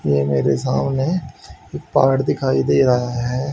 यह मेरे सामने एक पहाड़ दिखाई दे रहा है।